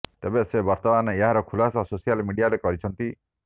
ତେବେ ସେ ବର୍ତ୍ତମାନ ଏହାର ଖୁଲାସା ସୋସିଆଲ ମିଡିଆରେ କରିଛନ୍ତି